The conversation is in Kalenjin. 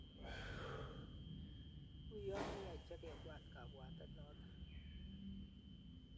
Uyo mi haja kebwat kabwatet noto